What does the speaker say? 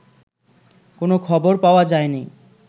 কোনো খবর পাওয়া যায়নি